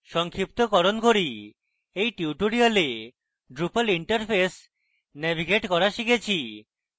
সংক্ষিপ্তকরণ করি in tutorial আমরা drupal interface navigate করা শিখেছি